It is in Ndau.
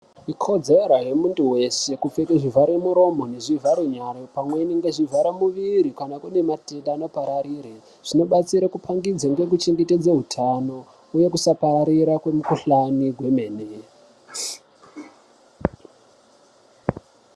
Ikodzera yemuntu wese kupfeka zvivharamuromo nezvivarenyara pamweni ngezvivharemuviri pane matenda anopararire. Zvinobatsira kupangidze nekuchengetedza utano uye kusapararira kwemukuhlani wemene.